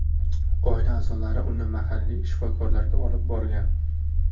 Oila a’zolari uni mahalliy shifokorlarga olib brogan.